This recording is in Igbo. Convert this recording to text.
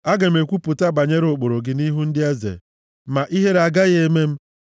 Aga m ekwupụta banyere ụkpụrụ gị nʼihu ndị eze ma ihere agaghị eme m,